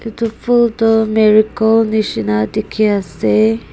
etu phul toh marigold nishena dekhi asey.